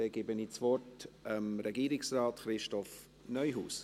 Dann gebe ich das Wort Regierungsrat Christoph Neuhaus.